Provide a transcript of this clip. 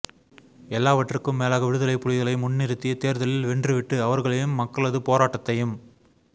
எல்லாவற்றுக்கும் மேலாக விடுதலைப் புலிகளை முந்நிறுத்தி தேர்தலில் வென்றுவிட்டு அவர்களையும் மக்களது போராட்டத்தையும்